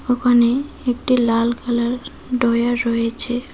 দোকানে একটি লাল কালার ডয়ার রয়েছে। হা--